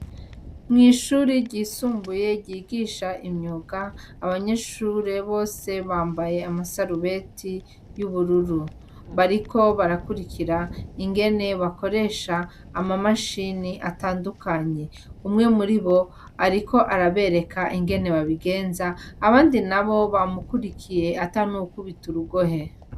Mwishure ryisumbuye ryigisha imyuga abanyeshure bose bambaye amasarubeti yubururu bariko barakwirikira ingene bakoresha amamashini atandukanye umwe muribo ariko arabereka ingene babigenza abandi nabo bamukwirikiye atanuwukubita urugohe.